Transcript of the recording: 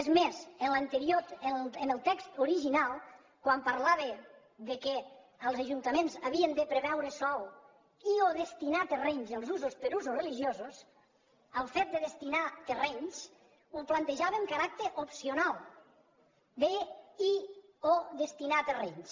és més en el text original quan parlava que els ajuntaments havien de preveure sòl i o destinar terrenys per a usos religiosos el fet de destinar hi terrenys ho plantejava amb caràcter opcional deia i o destinar terrenys